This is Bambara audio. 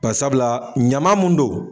Bari sabula ɲaman mun don